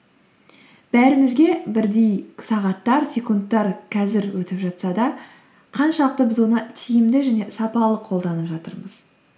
бәрімізге бірдей сағаттар секундтар қазір өтіп жатса да қаншалықты біз оны тиімді және сапалы қолданып жатырмыз